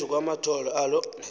phezu kwamathole alo